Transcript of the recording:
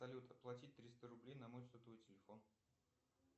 салют оплатить триста рублей на мой сотовый телефон